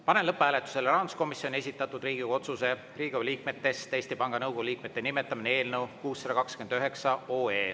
Panen lõpphääletusele rahanduskomisjoni esitatud Riigikogu otsuse "Riigikogu liikmetest Eesti Panga Nõukogu liikmete nimetamine" eelnõu 629.